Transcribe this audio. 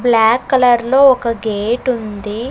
Black colour లో ఒక gate ఉంది.